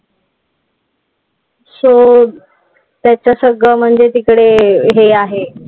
So त्याचं सगळं म्हणजे तिकडे हे आहे.